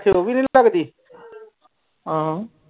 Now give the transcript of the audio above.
ਆਖੇ ਓਵੀ ਨਾਈ ਲੱਗਦੀ ਆਹੋ